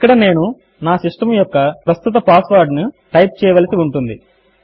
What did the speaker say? ఇక్కడ నేను నా సిస్టమ్ యొక్క ప్రస్తుత పాస్వర్డ్ ను టైప్ చేయవలసి ఉంటుంది